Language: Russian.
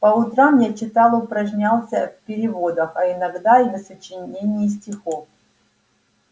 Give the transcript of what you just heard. по утрам я читал упражнялся в переводах а иногда и в сочинении стихов